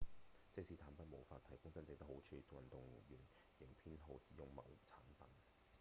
即使產品無法提供真正的好處運動員仍偏好使用某產品